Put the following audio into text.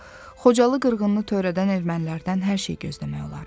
Yoxsa Xocalı qırğınnı törədən ermənilərdən hər şey gözləmək olar.